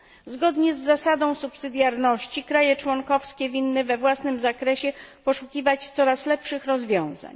Zgodnie z zasadą subsydiarności kraje członkowskie winny we własnym zakresie poszukiwać coraz lepszych rozwiązań.